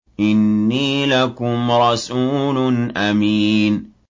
إِنِّي لَكُمْ رَسُولٌ أَمِينٌ